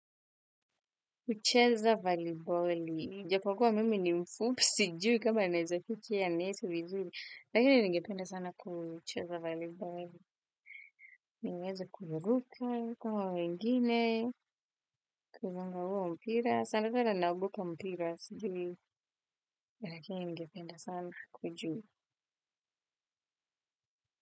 Ucheza valiboli. Ijapokuwa mimi ni mfupi sijui kama naezafiki a neti vizuri. Lakini ningependa sana kuucheza valiboli. Ningeweze kuhuruka kama wengine. Kuzunga huwo mpira. Sana kwa naogopa mpira sijui. Lakini ningependa sana kujua.